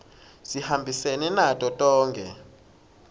sihambisene nato tonkhe